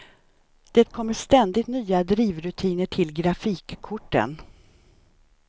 Det kommer ständigt nya drivrutiner till grafikkorten.